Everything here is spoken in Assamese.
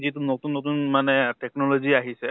যিটো নতুন নতুন মানে technology আহিছে